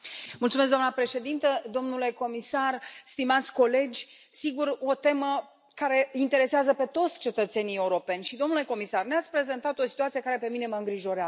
Doamnă președintă, domnule comisar, stimați colegi, sigur, o temă care interesează pe toți cetățenii europeni și, domnule comisar, ne ați prezentat o situație care pe mine mă îngrijorează.